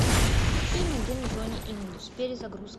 фильм агент джонни инглиш перезагрузка